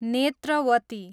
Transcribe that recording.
Netravati